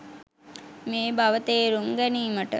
මේ බව තේරුම් ගැනීමට